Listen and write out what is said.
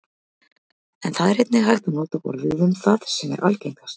en það er einnig hægt að nota orðið um það sem er algengast